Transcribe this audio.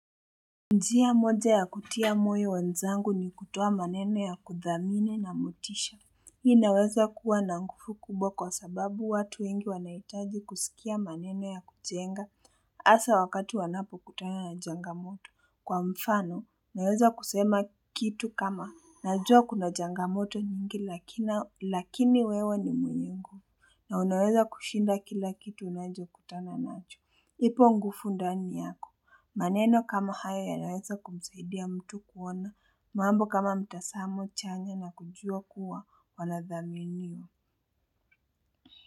Njia moja ya kutia moyo wenzangu ni kutoa maneno ya kuthamini na motisha Hii inaweza kuwa na nguvu kubwa kwa sababu watu wengi wanahitaji kusikia maneno ya kujenga haswa wakati wanapokutana na changamoto Kwa mfano naweza kusema kitu kama najua kuna changamoto nyingi lakini wewe ni mwenyewe nguvu na unaweza kushinda kila kitu unachokutana nacho, ipo nguvu ndani yako maneno kama haya yanaweza kumsaidia mtu kuona, mambo kama mtazamo chanya na kujua kuwa wanadhaminiwa.